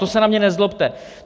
To se na mě nezlobte.